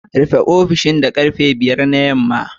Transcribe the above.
Rufe ofishin da karfe 5 na yamma